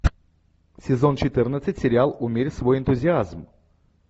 сезон четырнадцать сериал умерь свой энтузиазм